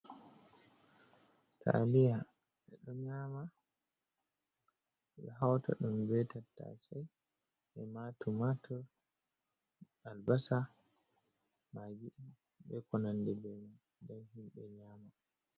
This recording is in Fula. Taliya, ɓeɗon nyama, ɓe ɗo hauta ɗom be tattasai ima tumator, albasa magi be konande be mai den hinɓe nyama.